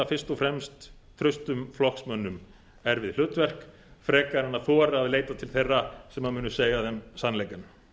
fyrst og fremst traustum flokksmönnum erfið hlutverk frekar en að þora að leita til þeirra sem munu segja þeim sannleikann